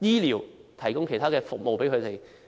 醫療等服務。